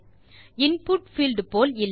input field போல் இல்லை